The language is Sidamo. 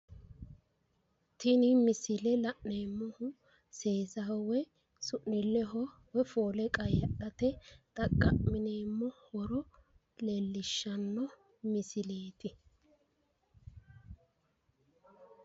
tini misile la'neemmohu seesaho woyi su'niilleho woyi foole qayyadhate xaqa'mineemmo horo leellishshanno misileeti.